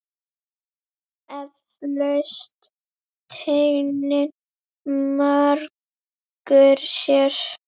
Eflaust þennan margur sér.